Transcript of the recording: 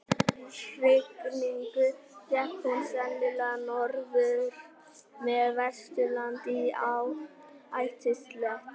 eftir hrygningu gekk hún sennilega norður með vesturlandi í ætisleit